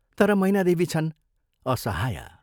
तर मैनादेवी छन् असहाया।